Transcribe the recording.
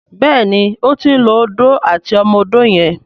Béèni o tin ló Odó àti ọmọ odó yen.